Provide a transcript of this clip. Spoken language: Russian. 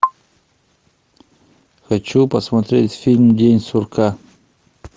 хочу посмотреть фильм день сурка